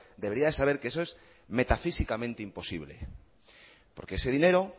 debería de saber que eso es metafísicamente imposible porque ese dinero